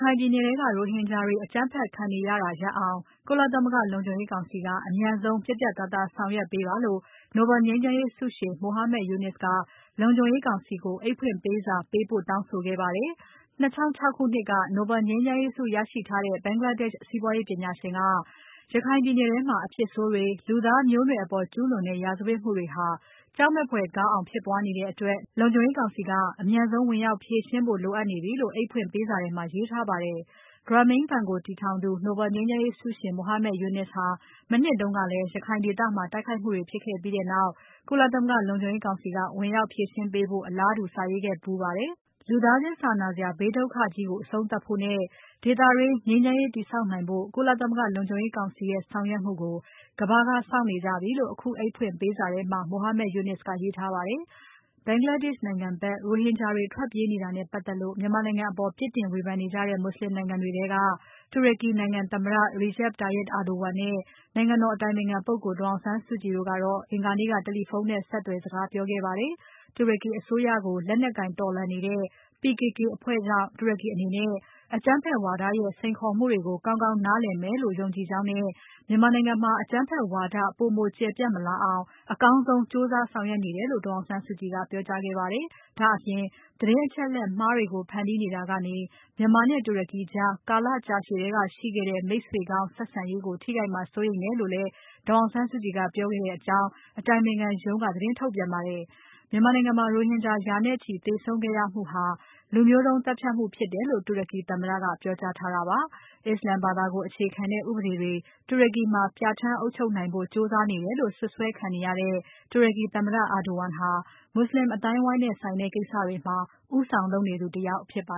ခိုင်ပြည်နယ်ထဲက ရိုဟင်ဂျာတွေ အကြမ်းဖက်ခံနေရတာ ရပ်အောင် ကုလသမဂ္ဂ လုံခြုံရေး ကောင်စီက အမြန်ဆုံး ပြတ်ပြတ်သားသား ဆောင်ရွက်ဖို့ အတွက် Noble ငြိမ်းချမ်းရေး ဆုရှင် Muhammad Yunus က လုံခြုံရေးကောင်စီကို အိတ်ဖွင့်ပေးစာ ပေးပို့ခဲ့ပါတယ်။ ၂၀၀၆ ခုနှစ်က Nobel ငြိမ်းချမ်းရေးဆု ရရှိထားတဲ့ Bangladesh စီးပွားရေးပညာရှင်က ရခိုင်ပြည်နယ်ထဲမှာ အဖြစ်ဆိုးတွေ၊လူသားမျိုးနွယ်အပေါ် ကျူးလွန်တဲ့ ရာဇဝတ်မှုတွေဟာ ကြောက်ဖွယ်ကောင်းအောင် ဖြစ်ပွားနေတဲ့အတွက် လုံခြုံရေးကောင်စီက အမြန်ဆုံး ဝင်ရောက် ဖြေရှင်းဖို့ လိုအပ်နေပြီလို့ အိတ်ဖွင့်ပေးစာထဲမှာ ရေးထားပါတယ်။ Grameen ဘဏ်ကိုတည်ထောင်သူ Noble ငြိမ်းချမ်းရေးဆုရှင် Muhammad Yunus ဟာ မနှစ်တုန်းကလည်း ရခိုင်ဒေသမှာ တိုက်ခိုက်မှုတွေ ဖြစ်ခဲ့ပြီးနောက် ကုလသမဂ္ဂ လုံခြုံရေးကောင်စီက ဝင်ရောက် ဖြေရှင်းပေးဖို့ အလားတူ စာရေးခဲ့ဖူးပါတယ်။လူသားချင်း စာနာစရာ ဘေးဒုက္ခကြီးကို အဆုံးသတ်ဖို့နဲ့ ဒေသတွင်း ငြိမ်းချမ်းရေး တည်ဆောက်နိုင်ဖို့ ကုလသမဂ္ဂ လုံခြုံရေးကောင်စီရဲ့ ဆောင်ရွက်မှုကို ကမ္ဘာက စောင့်နေကြပြီလို့ အခုအိတ်ဖွင့် ပေးစာထဲမှာ Muhammad Yunus ကရေးပါတယ်။ Bangladesh နိုင်ငံဖက် ရိုဟင်ဂျာတွေ ထွက်ပြေးနေတာနဲ့ ပတ်သက်လို့ မြန်မာနိုင်ငံ အပေါ် ပြစ်တင် ဝေဖန်နေကြတဲ့ မွတ်ဆလင်နိုင်ငံတွေ ထဲက တူရကီနိုင်ငံ သမ္မတ Recep Tayyip Erdoğan နဲ့ နိုင်ငံတော် အတိုင်ပင်ခံပုဂ္ဂိုလ် ဒေါ်အောင်ဆန်းစုကြည်တို့ အင်္ဂါနေ့က တယ်လီဖုန်းနဲ့ ဆက်သွယ် စကားပြောခဲ့ ကြပါတယ်။ တူရကီအစိုးရကို လက်နက်ကိုင် တော်လှန်နေတဲ့ PKK အဖဲ့ွကြောင့် တူရကီအနေနဲ့ အကြမ်းဖက်ဝါဒရဲ့စိန်ခေါ်မှုတွေကို ကောင်းကောင်း နားလည်မယ်လို့ ယုံကြည်ကြောင်းနဲ့ မြန်မာနိုင်ငံမှာ အကြမ်းဖက်ဝါဒ ပိုမို ကျယ်ပြန့် မလာအောင် အကောင်းဆုံး ကြိုးစား ဆောင်ရွက် နေတယ်လို့ ဒေါ်အောင်ဆန်းစုကြည်က ပြောကြားခဲ့ပါတယ်။ ဒါ့အပြင် သတင်းအချက်အလက်မှားတွေကို ဖန်တီးနေတာကနေ မြန်မာနဲ့ တူရကီကြား ကာလကြာရှည်ထဲက ရှိခဲ့တဲ့ မိတ်ဆွေကောင်း ဆက်ဆံရေးကို ထိခိုက်မှာ စိုးရိမ်တယ်လို့လည်း ဒေါ်အောင်ဆန်းစုကြည်က ပြောခဲ့တဲ့အကြောင်း အတိုင်ပင်ခံရုံးက သတင်းထုတ်ပြန်ပါတယ်။ မြန်မာနိုင်ငံမှာ ရိုဟင်ဂျာ ရာနဲ့ချီ သေဆုံးခဲ့ရမှုဟာ လူမျိုးတုန်း သတ်ဖြတ်မှု ဖြစ်တယ်လို့ တူရကီသမ္မတက ပြောကြားထားတာပါ။ အစ္စလာမ်ဘာသာကို အခြေခံတဲ့ ဥပဒေတွေ တူရကီမှာ ပြဌာန်း အုပ်ချုပ်နိုင်ဖို့ ကြိုးစားနေတယ်လို့ စွပ်စွဲခံနေရတဲ့ တူရကီသမ္မတ Erdoğan ဟာ မွတ်ဆလင် အသိုင်းအဝိုင်းနဲ့ ဆိုင်တဲ့ ကိစ္စတွေမှာ ဦးဆောင်လုပ်နေသူ တယောက် ဖြစ်ပါ